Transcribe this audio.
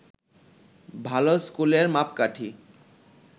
ভালো স্কুলের মাপকাঠি